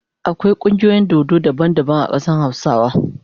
Akwai kungiyoyin dodo daban daban a kadan hausawa.